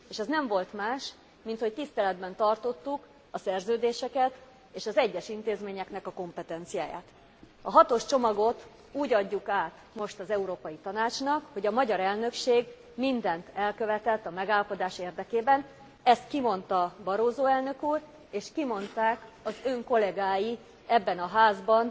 És ez nem volt más, mint hogy tiszteletben tartottuk a szerződéseket és az egyes intézményeknek a kompetenciáját. A hatos csomagot úgy adjuk át most az Európai Tanácsnak, hogy a magyar elnökség mindent elkövetett a megállapodás érdekében, ezt kimondta Barroso elnök úr, és kimondták az ön kollégái ebben a Házban